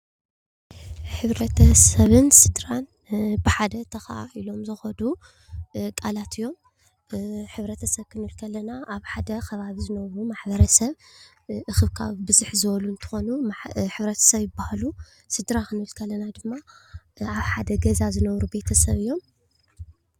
ሕብረተሰብን ስድራን ብሓደ ተኸኻኣኢሎም ዝኸዱ ቃላት እዮም፡፡ ሕብረተሰብ ክንብል ከለና ኣብ ሓደ ከባቢ ዝነብሩ ማሕበረሰብ እኽብካብ ብዝሕ ዝበሉ እንትኾኑ ሕብረተሰብ ይባሃሉ፡፡ ስድራ ክንብል ከለና ድማ ኣብ ሓደ ገዛ ዝነብሩ ቤተሰብ እዮም፡፡